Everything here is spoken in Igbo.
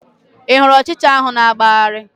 Ị hụrụ ụchịcha ahụ na-agbagharị?